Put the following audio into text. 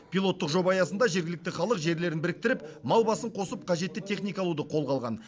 пилоттық жоба аясында жергілікті халық жерлерін біріктіріп мал басын қосып қажетті техника алуды қолға алған